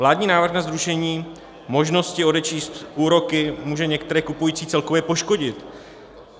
Vládní návrh na zrušení možnosti odečíst úroky může některé kupující celkově poškodit.